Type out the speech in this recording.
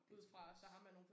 Det tror jeg også